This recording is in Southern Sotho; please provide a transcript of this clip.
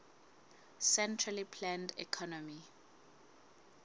centrally planned economy